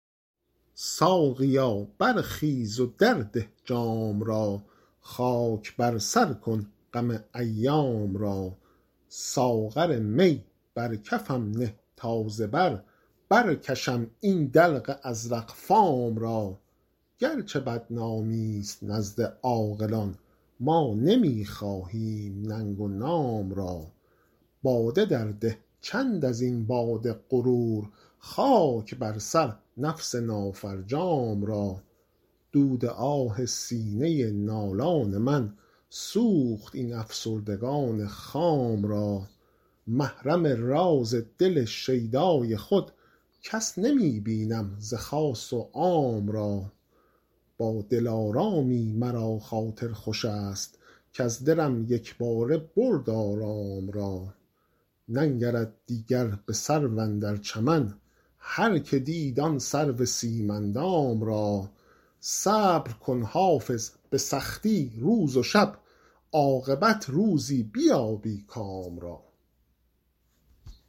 ساقیا برخیز و درده جام را خاک بر سر کن غم ایام را ساغر می بر کفم نه تا ز بر برکشم این دلق ازرق فام را گرچه بدنامی ست نزد عاقلان ما نمی خواهیم ننگ و نام را باده درده چند از این باد غرور خاک بر سر نفس نافرجام را دود آه سینه نالان من سوخت این افسردگان خام را محرم راز دل شیدای خود کس نمی بینم ز خاص و عام را با دلارامی مرا خاطر خوش است کز دلم یک باره برد آرام را ننگرد دیگر به سرو اندر چمن هرکه دید آن سرو سیم اندام را صبر کن حافظ به سختی روز و شب عاقبت روزی بیابی کام را